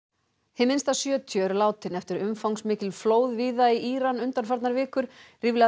hið minnsta sjötíu eru látin eftir umfangsmikil flóð víða í Íran undanfarnar vikur ríflega